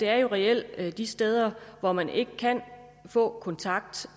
er jo reelt er de steder hvor man ikke kan få kontakt